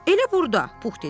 Elə burda, Pux dedi.